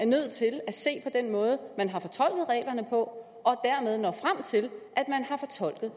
nødt til at se på den måde man har fortolket reglerne på og dermed nået frem til at man har fortolket